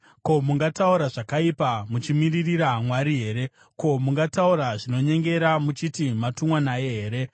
Ko, mungataura zvakaipa muchimiririra Mwari here? Ko, mungataura zvinonyengera muchiti matumwa naye here?